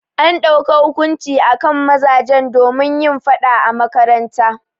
An dauka hukunci akan mazajen domin yin faɗa a makaranta.